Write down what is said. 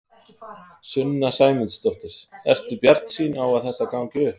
Sunna Sæmundsdóttir: Ertu bjartsýn á að þetta gangi upp?